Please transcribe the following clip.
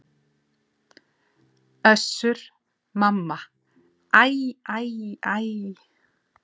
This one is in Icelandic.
Össur-Mamma: Æ æ æ.